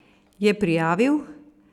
Je prijavil?